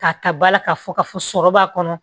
K'a ta bala k'a fɔ k'a fɔ sɔrɔ b'a kɔnɔ